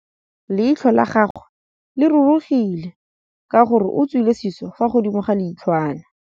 Leitlhô la gagwe le rurugile ka gore o tswile sisô fa godimo ga leitlhwana.